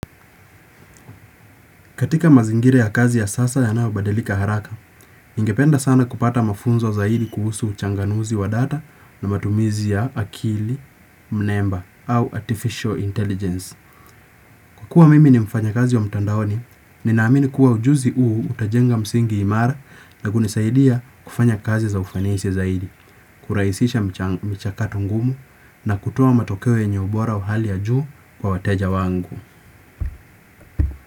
Katika mazingira ya kazi ya sasa ya nao badilika haraka, ingependa sana kupata mafunzo zaidi kuhusu uchanganuzi wa data na matumizi ya akili, mnemba au artificial intelligence. Kua mimi ni mfanya kazi wa mtandaoni, ninaamini kuwa ujuzi uu utajenga msingi imara na kunisaidia kufanya kazi za ufanisi zaidi, kuraisisha mcha mchakato ngumu na kutoa matokeo yenye ubora uhali ya juu kwa wateja wangu.